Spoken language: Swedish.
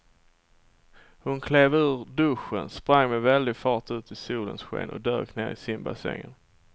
Hon klev ur duschen, sprang med väldig fart ut i solens sken och dök ner i simbassängen.